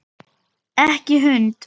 Ekki hund!